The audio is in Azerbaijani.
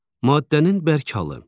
Maddənin bərk halı.